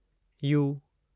U